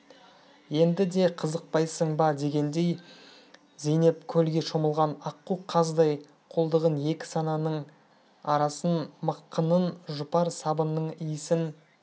енді де қызықпайсың ба дегендей зейнеп көлге шомылған аққу қаздай қолтығын екі санының арасын мықынын жұпар сабынның иісін